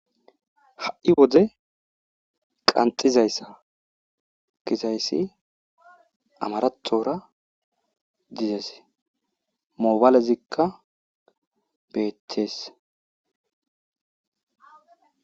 Ha'i wode qanxxidayssa gizayssi amarathora dizeese. mobalezikka beetees.